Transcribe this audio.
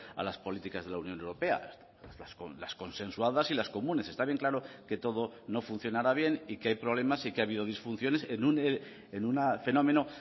a las políticas de la unión europea las consensuadas y las comunes está bien claro que todo no funcionará bien y que hay problemas y que ha habido disfunciones en un fenómeno